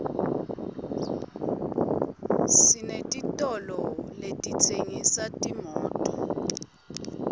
senetitolo letitsengisa timoto